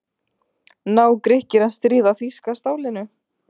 Ná Grikkir að stríða þýska stálinu?